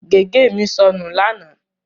Gègé mi sọnù lánàá.